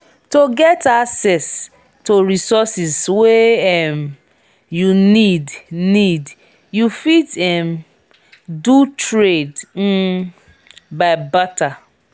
to get access to resources wey um you need need you fit um do trade um by barter